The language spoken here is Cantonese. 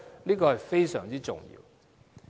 這是非常重要的。